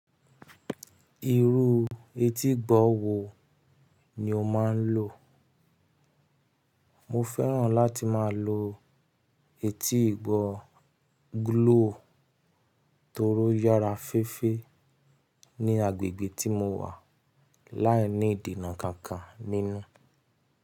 Irú etí ìgbọ̀ wo ni o máa ń lò? Mo fẹ́ràn láti máa lo etí ìgbọ̀ gúlóò torí ó yára féfé ní agbègbè tí mo wà láìní ìdènà kankan nínú.